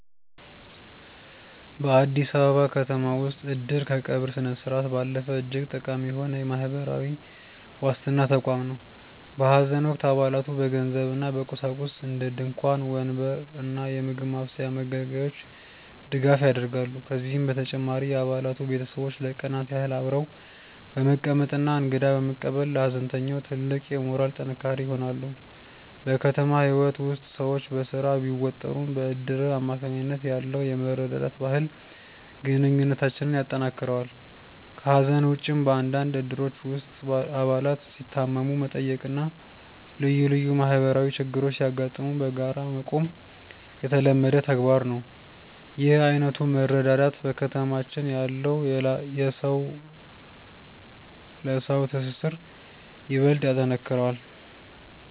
በአዲስ አበባ ከተማ ውስጥ "እድር" ከቀብር ስነስርዓት ባለፈ እጅግ ጠቃሚ የሆነ የማህበራዊ ዋስትና ተቋም ነው። በሐዘን ወቅት አባላቱ በገንዘብና በቁሳቁስ (እንደ ድንኳን፣ ወንበር እና የምግብ ማብሰያ መገልገያዎች) ድጋፍ ያደርጋሉ። ከዚህም በተጨማሪ የአባላቱ ቤተሰቦች ለቀናት ያህል አብረው በመቀመጥና እንግዳ በመቀበል ለሐዘንተኛው ትልቅ የሞራል ጥንካሬ ይሆናሉ። በከተማ ህይወት ውስጥ ሰዎች በስራ ቢወጠሩም፣ በእድር አማካኝነት ያለው የመረዳዳት ባህል ግንኙነታችንን ያጠናክረዋል። ከሐዘን ውጭም፣ በአንዳንድ እድሮች ውስጥ አባላት ሲታመሙ መጠየቅና ልዩ ልዩ ማህበራዊ ችግሮች ሲያጋጥሙ በጋራ መቆም የተለመደ ተግባር ነው። ይህ ዓይነቱ መረዳዳት በከተማችን ያለውን የሰው ለሰው ትስስር ይበልጥ ያጠነክረዋል።